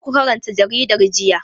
Karku karanta jaridan jiya.